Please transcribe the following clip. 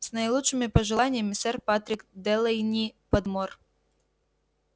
с наилучшими пожеланиями сэр патрик делэйни-подмор